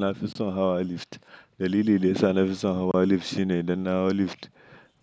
Nafi son hawa lift. Dalili da yasa nafi son hawa lift shi ne idan na hau lift,